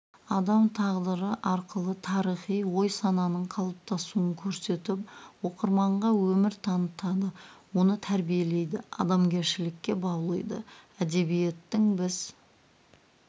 адам тағдыры арқылы тарихи ой-сананың қалыптасуын көрсетіп оқырманға өмір танытады оны тәрбиелейді адамгершілікке баулиды әдебиеттің біз